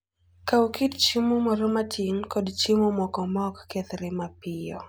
Kaw kit chiemo moro matin kod chiemo moko ma ok kethre mapiyo.